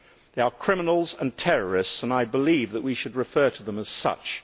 They are criminals and terrorists and I believe that we should refer to them as such.